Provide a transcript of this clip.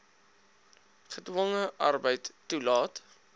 gedwonge arbeid toelaat